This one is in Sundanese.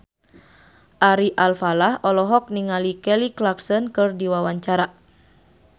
Ari Alfalah olohok ningali Kelly Clarkson keur diwawancara